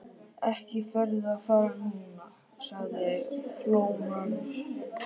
Ekki ferðu að fara núna, sagði Flóamaður.